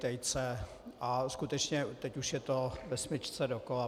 Tejce a skutečně, teď už je to ve smyčce dokola.